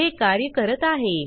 हे कार्य करत आहे